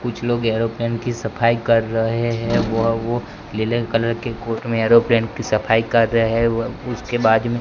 कुछ लोग एयरोप्लेन की सफाई कर रहे है वह वो नीले कलर के कोट में एयरोप्लेन की सफाई कर रहे है उसके बाद में--